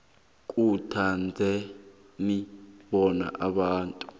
khuthazeni bona abantu